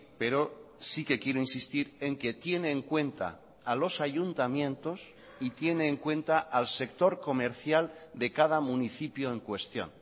pero sí que quiero insistir en que tiene en cuenta a los ayuntamientos y tiene en cuenta al sector comercial de cada municipio en cuestión